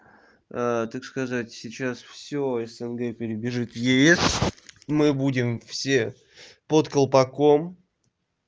так сказать сейчас все снг перебежит в ес мы будем все под колпаком